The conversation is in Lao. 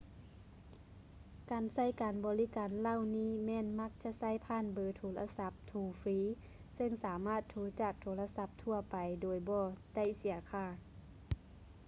ການໃຊ້ການບໍລິການເຫຼົ່ານີ້ແມ່ນມັກຈະໃຊ້ຜ່ານເບີໂທລະສັບໂທຟຣີເຊິ່ງສາມາດໂທຈາກໂທລະສັບທົ່ວໄປໂດຍບໍ່ໄດ້ເສຍຄ່າ